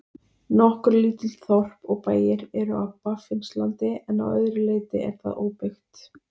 Nokkur lítil þorp og bæir eru á Baffinslandi en að öðru leyti er það óbyggt.